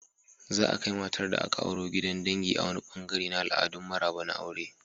Za'a kai matar da aka auro gidan dangi a wani ɓangare na al'adun maraba na aure.